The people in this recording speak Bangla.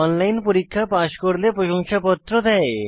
অনলাইন পরীক্ষা পাস করলে প্রশংসাপত্র দেয়